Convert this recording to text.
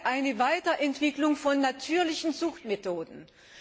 eine Weiterentwicklung von natürlichen Zuchtmethoden ist.